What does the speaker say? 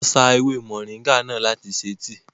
Wọ́n sá ewé mọ̀nríngà náà láti ṣe tíì